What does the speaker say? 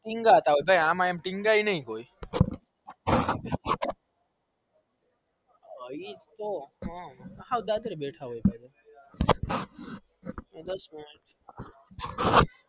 ટીનાગતા હોય ભાઈ અમ એમ કોઈ ટીનાગાય નઈ કોઈ